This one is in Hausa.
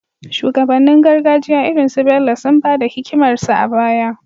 Shugabannin gargajiya irin su Bello sun ba da hikimarsu a baya